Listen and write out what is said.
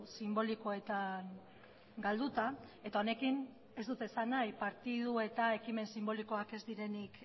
sinbolikoetan galduta eta honekin ez dut esan nahi partidu eta ekimen sinbolikoak ez direnik